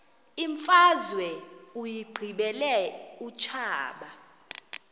imfazwe uyiqibile utshaba